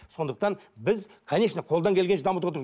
сондықтан біз конечно қолдан келгенше дамытып